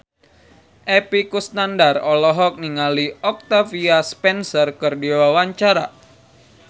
Epy Kusnandar olohok ningali Octavia Spencer keur diwawancara